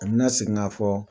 U bɛ na segin k'a fɔ.